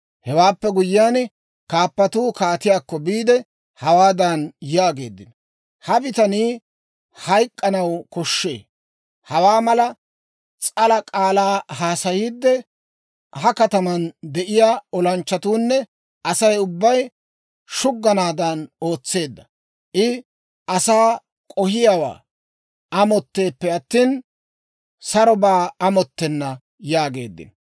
Hewaappe guyyiyaan, kaappatuu kaatiyaakko biide, hawaadan yaageeddino; «Ha bitanii hayk'k'anaw koshshee; hawaa mala s'ala k'aalaa haasayiide, ha kataman de'iyaa olanchchatuunne Asay ubbay shugganaadan ootseedda. I asaa k'ohiyaawaa amotteeppe attina, sarobaa amottenna» yaageeddino.